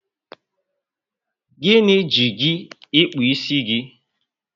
Gịnị ji gị ịkpụ isi gị?